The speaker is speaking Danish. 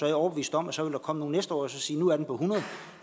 jeg overbevist om at så vil der komme nogle næste år og sige nu er den på hundrede